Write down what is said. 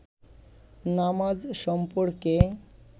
নামাজ সম্পর্কে